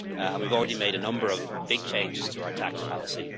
rate. We have already made a number of big changes to our tax policy.